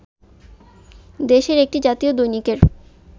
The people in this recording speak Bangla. দেশের একটি জাতীয় দৈনিকের